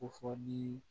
Ko fɔ ni